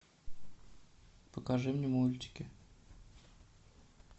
покажи мне мультики